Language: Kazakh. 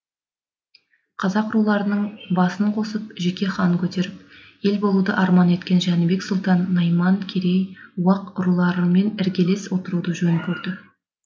қазақ руларының басын қосып жеке хан көтеріп ел болуды арман еткен жәнібек сұлтан найман керей уақ руларымен іргелес отыруды жөн көрді